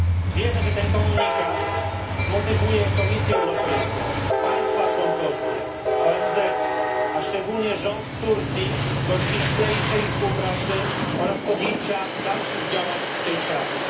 Wierzę, że ten komunikat zmotywuje Komisję Europejską, państwa członkowskie, ONZ, a szczególnie rząd Turcji, do ściślejszej współpracy oraz do podjęcia dalszych działań w tej sprawie.